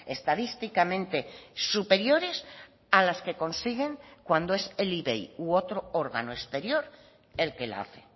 estadísticamente superiores a las que consiguen cuando es el ivei u otro órgano exterior el que la hace